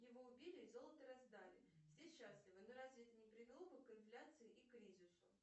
его убили и золото раздали все счастливы но разве это не привело бы к инфляции и кризису